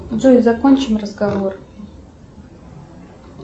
джой закончим разговор